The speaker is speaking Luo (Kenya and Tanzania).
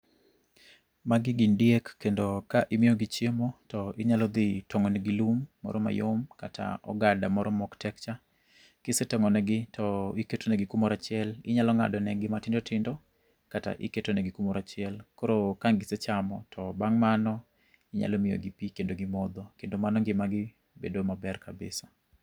Magi gin diek, kendo ka imiyogi chiemo, to inyalo dhi tongó ne gi lum moro mayom kata ogada moro ma ok tek cha. Kisetongó ne gi to iketo negi kumoro achiel. Inyalo ngádo ne gi matindo tindo kata, iketo negi kumoro achiel. Koro ka gisechamo to bang' mano inyalo miyo gi pi kendo gimodho. Kendo mano ngimagi bedo maber kabisa.